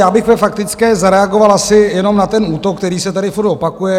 Já bych ve faktické zareagoval asi jenom na ten útok, který se tady furt opakuje.